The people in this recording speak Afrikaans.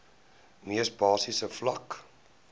mees basiese vlak